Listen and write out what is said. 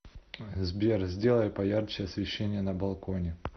сбер сделай поярче освещение на балконе